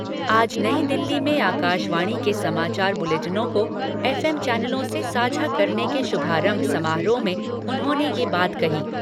आज नई दिल्ली में आकाशवाणी के समाचार बुलेटिनों को एफ एम चैनलों से साझा करने के शुभारंभ समारोह में उन्होंने ये बात कही।